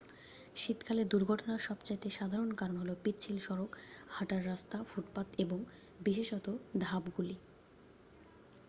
শীতকালে দুর্ঘটনার সবচেয়ে সাধারণ কারণ হল পিচ্ছিল সড়ক হাটার রাস্তা ফুটপাত এবং বিশেষত ধাপগুলি।